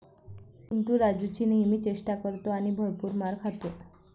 चिंटू राजुची नेहमी चेष्टा करतो आणि भरपूर मार खातो.